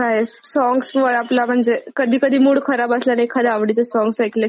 कधी कधी मूड खराब असल्यावर एखाद आवडीचं सॉंग ऐकल कि एकदम मूड चांगला होऊन जातो.